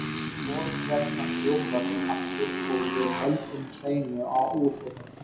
Við skorum hérna þrjú mörk aftur og við höldum hreinu á útivelli.